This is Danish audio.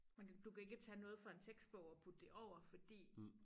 Man kan du kan ikke tage noget i den tekstbog og putte det over fordi